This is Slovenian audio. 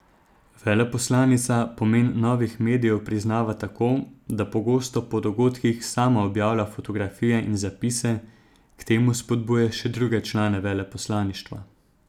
Veleposlanica pomen novih medijev priznava tako, da pogosto po dogodkih sama objavlja fotografije in zapise, k temu spodbuja še druge člane veleposlaništva.